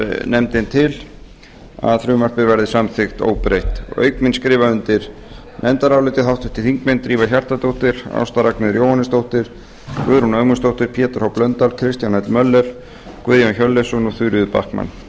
nefndin til að frumvarpið verði samþykkt óbreytt auk mín skrifa undir nefndarálitið háttvirtir þingmenn drífa hjartardóttir ásta ragnheiður jóhannesdóttir guðrún ögmundsdóttir pétur h blöndal kristján l möller guðjón hjörleifsson og þuríður backman